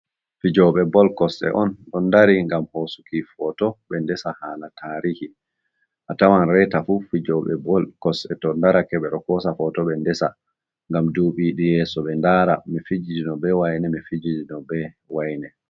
Fijoɓe bol kosɗe on ɗo dari ngam hosuki foto be ndesa hala tarihi. A tawan reta fu fijoɓe bol kosɗe to darake ɓe hosa foto ɓe ndesa ngam duɓiɗi yeso ɓe ndara mi fijiji no be waine mi fijiji no be waine.